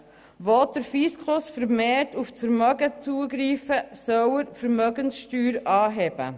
Wo der Fiskus vermehrt auf das Vermögen zugreifen will, soll er die Vermögenssteuer anheben.